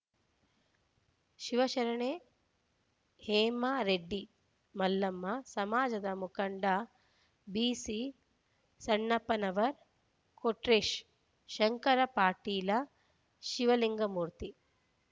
ಶಿವಶರಣೆ ಹೇಮರೆಡ್ಡಿ ಮಲ್ಲಮ್ಮ ಸಮಾಜದ ಮುಖಂಡ ಬಿಸಿಸಣ್ಣಪ್ಪನವರ್ ಕೊಟ್ರೇಶ್ ಶಂಕರ ಪಾಟೀಲ ಶಿವಲಿಂಗಮೂರ್ತಿ